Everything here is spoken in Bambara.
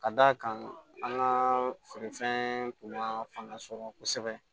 Ka d'a kan an ka feerefɛn tun ma fanga sɔrɔ kosɛbɛ